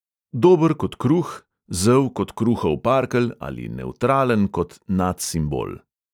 Dober kot kruh, zel kot kruhov parkelj ali nevtralen kot nadsimbol.